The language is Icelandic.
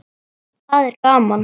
Það er gaman.